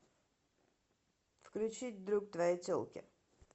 включить друг твоей телки